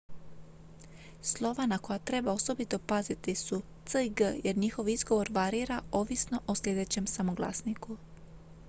slova na koja treba osobito paziti su c i g jer njihov izgovor varira ovisno o sljedećem samoglasniku